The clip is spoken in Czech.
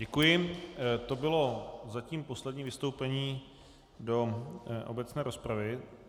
Děkuji, to bylo zatím poslední vystoupení do obecné rozpravy.